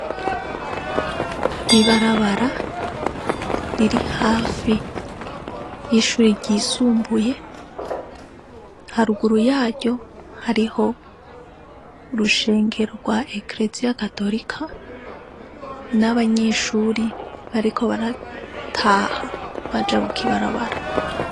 Ibarabara riri hafi y'ishuri ryisumbuye , haruguru yaryo hariho urushengero rwa Ekereziya gatolika , n'abanyeshuri bariko barataha bajabuka ibarabara .